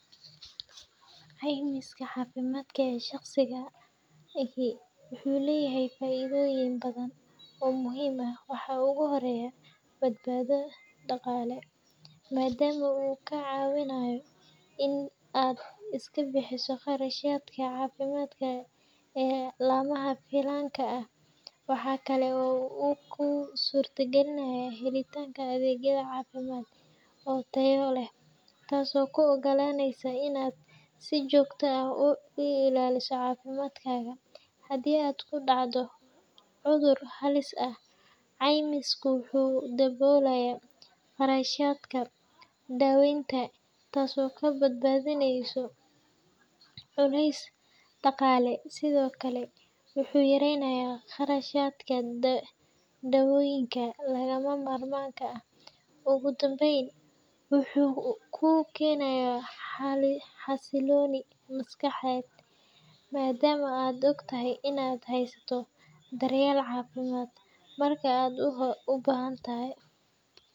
Caymiska caafimaadka ee shaqsiga ahi wuxuu leeyahay faa’iidooyin badan oo muhiim ah. Waxaa ugu horreeya badbaado dhaqaale, maadaama uu kaa caawinayo in aad iska bixiso kharashaadka caafimaad ee lama filaanka ah. Waxa kale oo uu kuu suurtagelinayaa helitaanka adeegyo caafimaad oo tayo leh, taasoo kuu oggolaaneysa in aad si joogto ah u ilaaliso caafimaadkaaga. Haddii aad ku dhacdo cudur halis ah, caymisku wuxuu daboolayaa qarashaadka daaweynta, taasoo kaa badbaadineysa culays dhaqaale. Sidoo kale, wuxuu yareeyaa kharashaadka daawooyinka lagama maarmaanka ah. Ugu dambeyn, wuxuu kuu keenayaa xasilooni maskaxeed, maadaama aad ogtahay in aad haysato daryeel caafimaad marka aad u baahato.